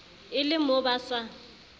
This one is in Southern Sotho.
e le mo ba sa